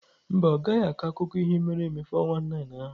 Mba, ọ gaghị akọ akụkọ ihe mere eme 419 ahụ.